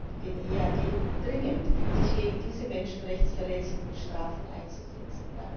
Ich bitte den EAD dringend, sich gegen diese menschenrechtsverletzenden Strafen einzusetzen.